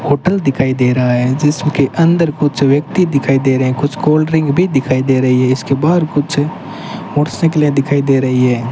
Hotel दिखाई दे रहा है जिसके अंदर कुछ व्यक्ति दिखाई दे रहे हैं कुछ कोल्ड ड्रिंक भी दिखाई दे रही है इसके बाहर कुछ मोटरसाइकिलें दिखाई दे रही है।